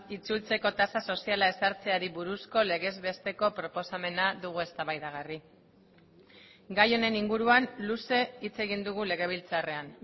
itzultzeko tasa soziala ezartzeari buruzko legez besteko proposamena dugu eztabaidagarri gai honen inguruan luze hitz egin dugu legebiltzarrean